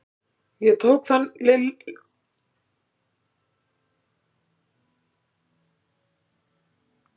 Ég tók þann litla fjólubláa úr bókaherberginu.